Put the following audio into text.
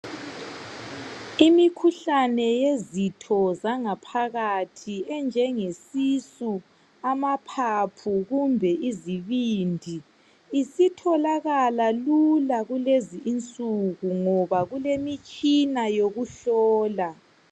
Imikhuhlane yezitho zangaphakathi enjenge sisu, amaphaphu kumbe izibindi isitholakala lula kulezinsuku ngoba kulemitshina yokuhlola.